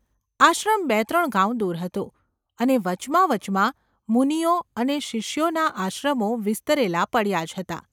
આશ્રમ બે ત્રણ ગાંવ દૂર હતો, અને વચમાં વચમાં મુનિઓ અને શિષ્યોના આશ્રમો વિસ્તરેલા પડ્યા જ હતા.